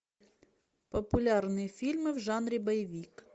популярные фильмы в жанре боевик